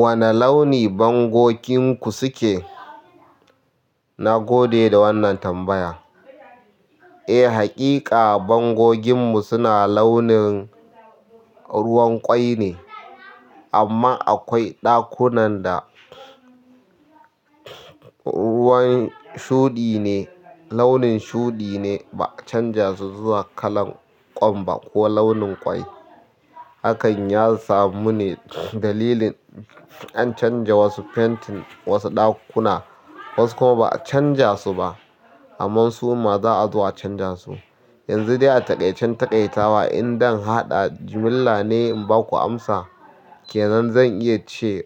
Wane launi bangoginku suke? Na gode da wannan tambaya. Eh, hakika bangoginmu suna launin ruwan ƙwai ne, amma akwai ɗakunan da ruwan shuɗi ne, launin shuɗi ne ba a canza su zuwa kalan ƙwan ba ko launin ƙwai. Hakan ya samu ne dalilin an canza wasu fentin wasu ɗakuna, wasu kuma ba a canza su ba, amma su ma za a zo a canza su. Yanzu dai a taƙaice-taƙaitawa in dan haɗa jimilla ne in ba ku amsa ke nan zan iya ce